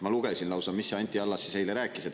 Ma lugesin lausa, mida Anti Allas eile rääkis.